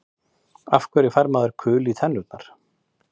Af hverju fær maður kul í tennurnar?